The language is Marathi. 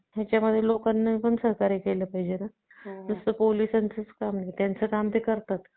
मगर ते मनुष्य नाही काय एवढं चांगलं असतात की नाही एकदा नाही का ते त्या मनुष्याकडेच जातात ते त्यांचं मूल जो असतात ना त्या मनुष्याकडेच जातात त्या